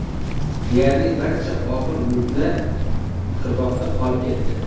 Deyarli barcha og‘ir mulklar qirg‘oqda qolib ketdi.